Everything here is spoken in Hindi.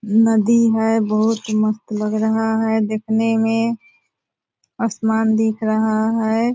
नदी है बहुत मस्त लग रहा है देखने में आसमान दिख रहा है।